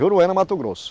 Juruena, Mato Grosso.